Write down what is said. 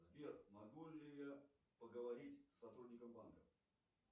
сбер могу ли я поговорить с сотрудником банка